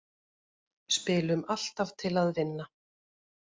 Spilum alltaf til að vinna